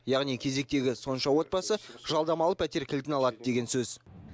яғни кезектегі сонша отбасы жалдамалы пәтер кілтін алады деген сөз